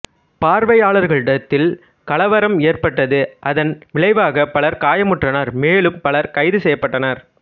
பார்வையாளர்களிடத்தில் கலவரம் ஏற்பட்டது அதன் விளைவாக பலர் காயமுற்றனர் மேலும் பலர் கைது செய்யப்பட்டனர்